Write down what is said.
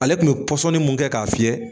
Ale tun bɛ pɔsɔni mun kɛ k'a fiyɛ